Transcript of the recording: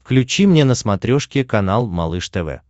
включи мне на смотрешке канал малыш тв